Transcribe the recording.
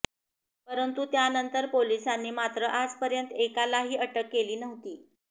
परंतु त्यानंतर पोलिसांनी मात्र आजपर्यंत एकालाही अटक केली नव्हती